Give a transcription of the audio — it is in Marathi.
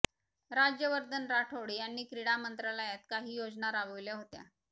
राज्यवर्धन राठोड यांनी क्रीडा मंत्रालयात काही योजना राबविल्या होत्या